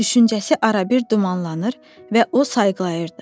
Düşüncəsi arabir dumanlanır və o sayğılayırdı.